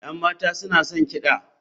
Yan mata suna son kiɗa.